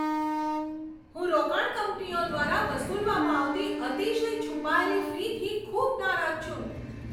હું રોકાણ કંપનીઓ દ્વારા વસૂલવામાં આવતી અતિશય છુપાયેલી ફીથી ખૂબ નારાજ છું.